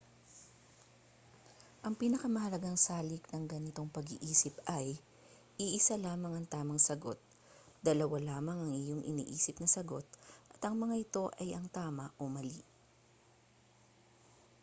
ang pinakamahalagang salik ng ganitong pag-iisip ay iisa lamang ang tamang sagot dalawa lamang ang iyong iniisip na sagot at ang mga ito ay ang tama o mali